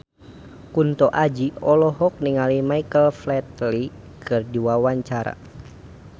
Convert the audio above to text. Kunto Aji olohok ningali Michael Flatley keur diwawancara